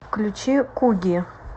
включи куги